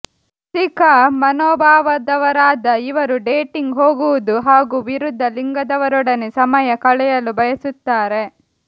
ರಸಿಕ ಮನೋಭಾವದವರಾದ ಇವರು ಡೇಟಿಂಗ್ ಹೋಗುವುದು ಹಾಗೂ ವಿರುದ್ಧ ಲಿಂಗದವರೊಡನೆ ಸಮಯ ಕಳೆಯಲು ಬಯಸುತ್ತಾರೆ